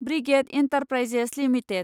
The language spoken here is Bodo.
brigade Enterprises limited